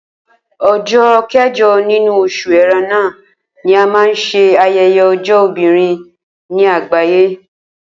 O̩jó̩ ké̩jo̩ nínú o̩s̩ù E̩ré̩nà ni a máa ń s̩e aye̩ye̩ o̩jó̩ obìnrin ní àgbàyé